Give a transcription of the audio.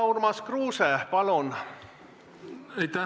Urmas Kruuse, palun!